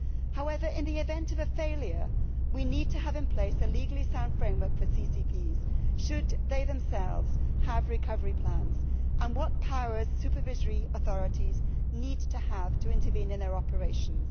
However, in the event of a failure, we need to have in place a legally sound framework for CCPs should they themselves have recovery plans, and what powers do supervisory authorities need to have to intervene in their operations?